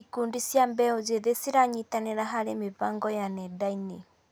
Ikundi cia mbeũ njĩthĩ ciranyitanĩra harĩ mĩbango ya nenda-inĩ.